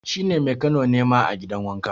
shi ne Mekano ne ma gidan wanka